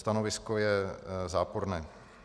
Stanovisko je záporné.